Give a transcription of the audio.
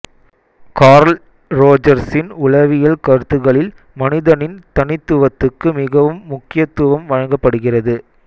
curl ரோஜர்ஸின் உளவியல் கருத்துக்களில் மனிதனின் தனித்துவத்துக்கு மிகவும் முக்கியத்துவம் வழங்கப்படுகிறது